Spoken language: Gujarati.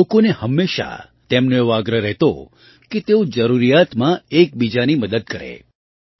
લોકોને હંમેશાં તેમનો એવો આગ્રહ રહેતો કે તેઓ જરૂરિયાતમાં એકબીજાની મદદ કરે